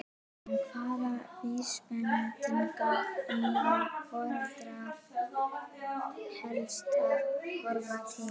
En hvaða vísbendinga eiga foreldrar helst að horfa til?